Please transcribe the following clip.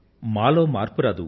మాలో మార్పు రాదు